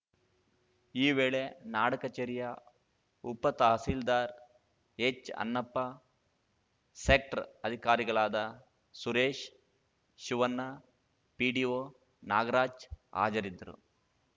ಈ ವೇಳೆ ನಾಡಕಚೇರಿಯ ಉಪತಹಸೀಲ್ದಾರ್‌ ಎಚ್‌ಅಣ್ಣಪ್ಪ ಸೆಕ್ಟ್ರ್ ಅಧಿಕಾರಿಗಳಾದ ಸುರೇಶ್‌ ಶಿವಣ್ಣ ಪಿಡಿಒ ನಾಗರಾಜ್‌ ಹಾಜರಿದ್ದರು